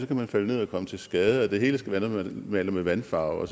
kan man falde ned og komme til skade og det hele skal være noget man maler med vandfarve